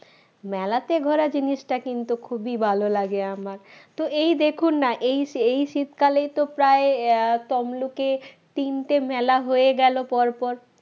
মেলাতে ঘোড়া জিনিসটা কিন্তু খুবই ভালো লাগে আমার তো এই দেখুন না এই এই শীতকালেই তো প্রায় আহ তোমলোকে তিনটে মেলা হয়ে গেল পরপর